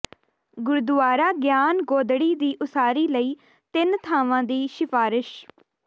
ਗੁਰਦੁਆਰਾ ਗਿਆਨ ਗੋਦੜੀ ਦੀ ਉਸਾਰੀ ਲਈ ਤਿੰਨ ਥਾਵਾਂ ਦੀ ਸਿਫਾਰਸ਼